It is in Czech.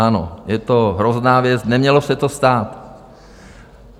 Ano, je to hrozná věc, nemělo se to stát.